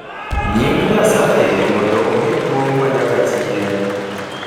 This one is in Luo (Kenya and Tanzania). Nying Nyasaye mondo omi duong’ ma nyaka chieng’,